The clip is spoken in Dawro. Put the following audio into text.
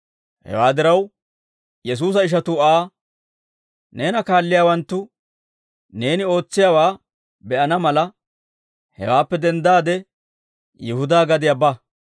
Hewaa diraw, Yesuusa ishatuu Aa, «Neena kaalliyaawanttu neeni ootsiyaawaa be'ana mala, hawaappe denddaade Yihudaa gadiyaa ba.